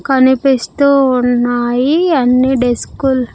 కనిపిస్తూ ఉన్నాయి అన్ని డెస్కుల్ .